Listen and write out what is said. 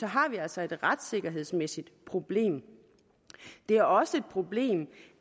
har vi altså et retssikkerhedsmæssigt problem det er også et problem